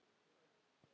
Og þar voru farmenn frá